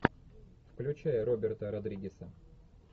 включай роберта родригеса